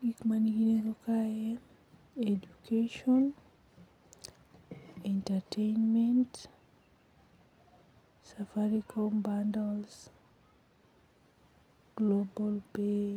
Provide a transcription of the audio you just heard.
Gik ma nigi nengo kae, education, entertainment, safaricom bundles, global pay.